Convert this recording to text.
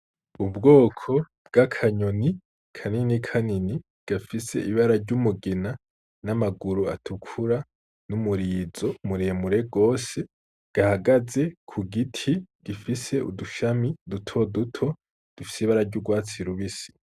Ubwoko bw'akanyoni kanini kanini, gafise ibara ry’umugina, n'amaguru atukura n'umurizo mure mure gose, gahagaze ku giti gifise udushami duto duto dufise ibara ry'urwatsi rubisi.